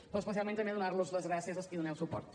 però especialment també donar los les gràcies als qui hi doneu suport